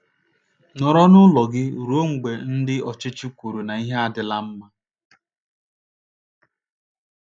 Nọrọ n’ụlọ gị ruo mgbe ndị ọchịchị kwuru na ihe adịla mma.